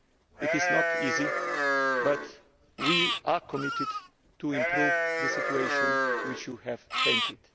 It is not easy, but we are committed to improving the situation which Members have painted.